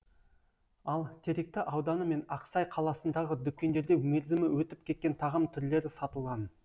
ал теректі ауданы мен ақсай қаласындағы дүкендерде мерзімі өтіп кеткен тағам түрлері сатылған